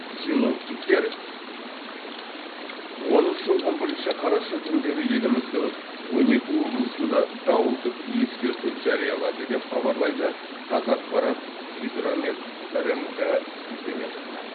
синоптиктер оныншы он бірінші қараша күндері еліміздің он екі облысында дауылдық ескерту жариялады деп хабарлайды қазақпарат қазгидромет рмк сілтеме жасап